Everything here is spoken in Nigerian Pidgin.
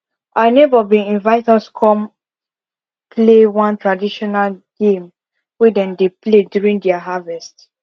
our neighbor been invite us come play one traditional game wey them dey play during their harvest